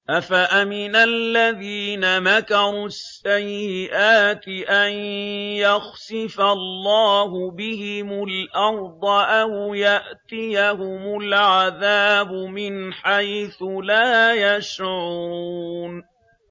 أَفَأَمِنَ الَّذِينَ مَكَرُوا السَّيِّئَاتِ أَن يَخْسِفَ اللَّهُ بِهِمُ الْأَرْضَ أَوْ يَأْتِيَهُمُ الْعَذَابُ مِنْ حَيْثُ لَا يَشْعُرُونَ